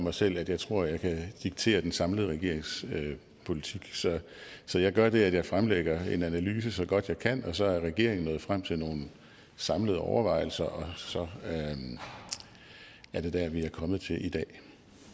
mig selv at jeg tror jeg kan diktere den samlede regerings politik så jeg gør det at jeg fremlægger en analyse så godt jeg kan og så er regeringen nået frem til nogle samlede overvejelser og så er det der vi er kommet til i dag